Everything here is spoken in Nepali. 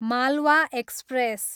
मालवा एक्सप्रेस